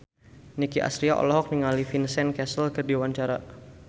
Nicky Astria olohok ningali Vincent Cassel keur diwawancara